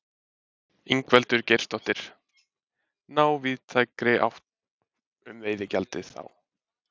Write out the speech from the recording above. Ingveldur Geirsdóttir: Ná víðtækri sátt um veiðigjaldið þá?